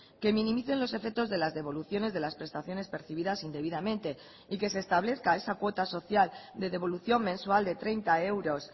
que minimicen los efectos de las devoluciones de las prestaciones percibidas indebidamente y que se establezca esa cuota social de devolución mensual de treinta euros